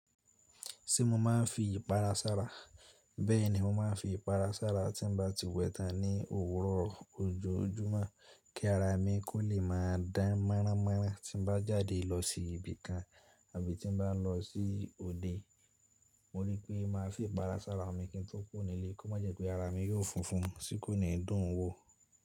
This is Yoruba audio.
Ṣé mo máa ń fi ìpara sára? Bẹ́ẹ̀ni, mo máa ń fi ìpara sára tí n bá ti wẹ tán ní òwúrọ̀ ojoojúmọ́ kí ara mi kó lè máa dán mọ́ráánmọ́ráán tí n bá jáde lọ sí ibi kan àbí tí n bá lọ sí òde. Mo rí pé máa fi ìpara sára mi kí n tó kúrò ní ilé kó má jẹ́ pé ara mi yóò funfun tí kò ní dùn ún wò.